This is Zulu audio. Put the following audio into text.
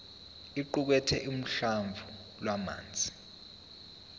iqukathe uhlamvu lwamazwi